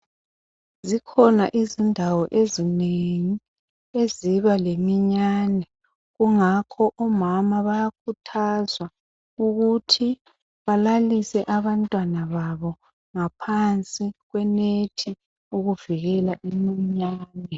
Zikhona izindawo ezinengi eziba leminyane, kungakho omama bayakhuthazwa ukuthi balalise abantwana babo ngaphansi kwenethi ukuvikela iminyane.